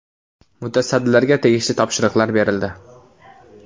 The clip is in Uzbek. Mutasaddilarga tegishli topshiriqlar berildi.